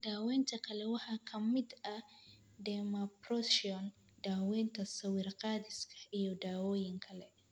Daawaynta kale waxaa ka mid ahaa dermabrasion, daawaynta sawir-qaadista, iyo dawooyin kale.